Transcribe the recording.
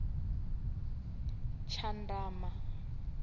tshandama